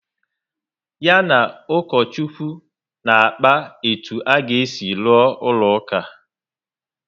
Ya na ukochukwu na-akpa etu a ga esi rụọ ụlọ uka